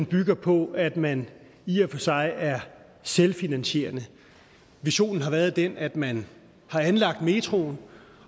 bygger på at man i og for sig er selvfinansierende visionen har været den at man har anlagt metroen